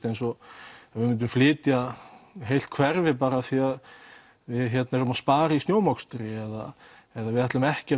eins og ef myndum flytja heilt hverfi af því að við spara í snjómokstri eða eða við ætlum ekki